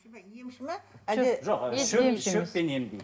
емші ме әлде жоқ шөп шөппен емдейді